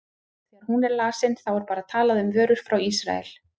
Þegar hún er lesin, þá er bara talað um vörur frá Ísrael?